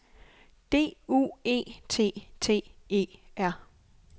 D U E T T E R